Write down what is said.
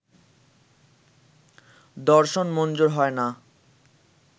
দর্শন মঞ্জুর হয় না